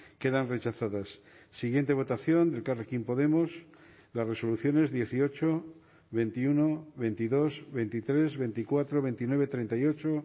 quedan rechazadas siguiente votación de elkarrekin podemos las resoluciones dieciocho veintiuno veintidós veintitrés veinticuatro veintinueve treinta y ocho